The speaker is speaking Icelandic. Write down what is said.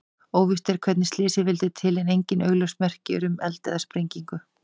Óvíst er hvernig slysið vildi til en engin augljós merki eru um eld eða sprengingu.